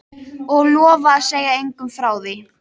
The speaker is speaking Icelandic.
Og lofa að segja engum frá því?